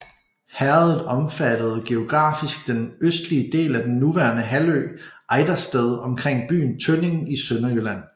Herredet omfattede geografisk den østlige del af den nuværende halvø Ejdersted omkring byen Tønning i Sønderjylland